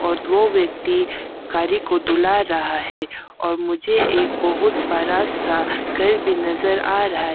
और दो व्यक्ति गाड़ी को धुला रहा है और मुझे एक बहुत बड़ा सा घर भी नजर आ रहा है।